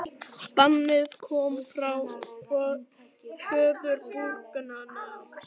Bannið kom frá föður brúðgumans